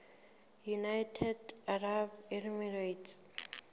united arab emirates